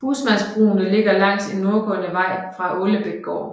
Husmandsbrugene ligger langs en nordgående vej fra Ålebækgård